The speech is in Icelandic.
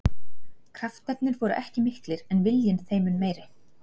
Kraftarnir voru ekki miklir en viljinn þeim mun meiri.